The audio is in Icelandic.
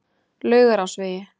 Laugarásvegi